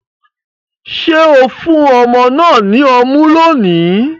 Ṣe o fun ọmọ náà ní ọmu lóni?